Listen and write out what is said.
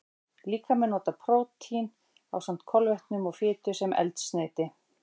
Líkaminn notar prótín, ásamt kolvetnum og fitu, sem eldsneyti.